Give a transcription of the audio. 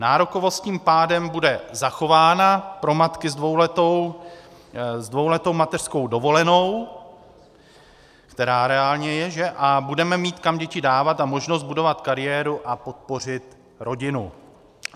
Nárokovost tím pádem bude zachována pro matky s dvouletou mateřskou dovolenou, která reálně je, a budeme mít kam děti dávat a možnost budovat kariéru a podpořit rodinu.